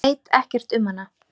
Veit ekkert um hana.